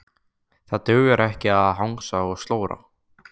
Það dugar ekki að hangsa og slóra.